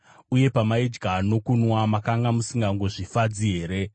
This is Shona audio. Uye pamaidya nokunwa, makanga musingangozvifadzi here?